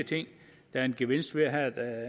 gevinster ved at